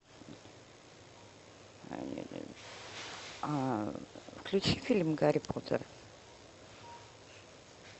включи фильм гарри поттер